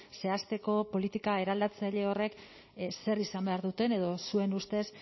zehazteko politika eraldatzaile horrek zer izan behar duten edo zuen ustez